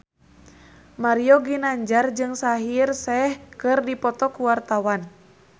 Mario Ginanjar jeung Shaheer Sheikh keur dipoto ku wartawan